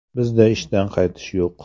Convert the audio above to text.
Bizda ishdan qaytish yo‘q.